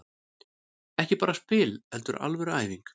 Ekki bara spil heldur alvöru æfing.